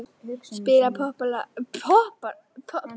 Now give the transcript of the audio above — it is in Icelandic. Spila popplag í kú fyrir spóann.